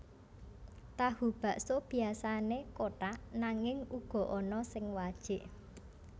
Tahu bakso biasané kotak nanging uga ana sing wajik